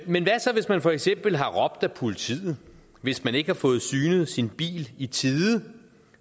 men hvad så hvis man for eksempel har råbt ad politiet hvis man ikke har fået synet sin bil i tide